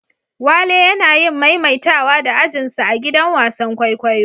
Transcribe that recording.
Wale yana yin maimaitawa da ajin sa a'gidan wasan kwaikwayo.